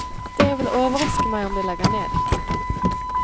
Det vil overraske meg om de legger ned. punktum